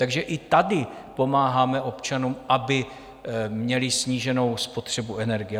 Takže i tady pomáháme občanům, aby měli sníženou spotřebu energie.